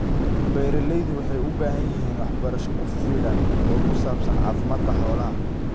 Beeralaydu waxay u baahan yihiin waxbarasho ku filan oo ku saabsan caafimaadka xoolaha.